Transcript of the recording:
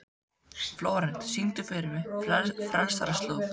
Flórent, syngdu fyrir mig „Frelsarans slóð“.